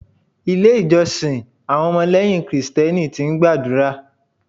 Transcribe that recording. Ilé ìjọsìn àwọn ọmọ lẹ́yìn Kristẹni ti ń gbàdúrà.